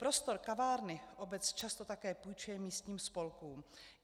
Prostor kavárny obec často také půjčuje místním spolkům.